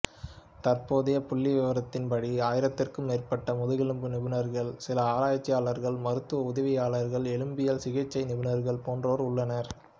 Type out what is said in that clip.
தற்போதைய புள்ளிவிவரத்தின்படி ஆயிரத்திற்கும் மேற்பட்ட முதுகெலும்பு நிபுணர்கள் சில ஆராய்ச்சியாளர்கள் மருத்துவ உதவியாளர்கள் எலும்பியல் சிகிச்சை நிபுணர்கள் போன்றோர் உள்ளனர்